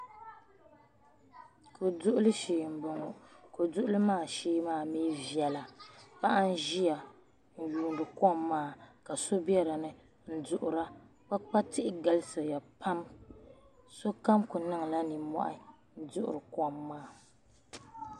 Koduɣili shee mboŋɔ Koduɣili maa shee maa di viɛla paɣa n ʒia n yuuni kom maa ka so biɛdini n duɣura kpaakpa galisiya pam sukam kuli niŋla ninmohi n duɣiri kom maa .